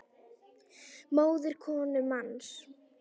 móðir konu manns